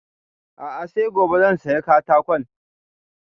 A'a sai gobe zan saya katakon